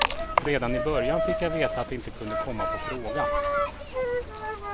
Redan i början fick jag veta att det inte kunde komma på fråga.